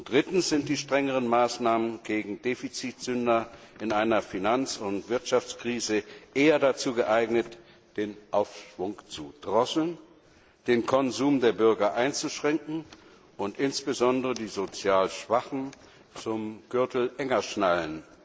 Drittens sind die strengeren Maßnahmen gegen Defizitsünder in einer Finanz und Wirtschaftskrise eher dazu geeignet, den Aufschwung zu drosseln, den Konsum der Bürger einzuschränken und insbesondere die sozial Schwachen zu zwingen, den Gürtel enger zu schnallen.